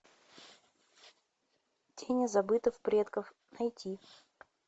тени забытых предков найти